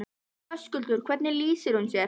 Höskuldur: Hvernig lýsir hún sér?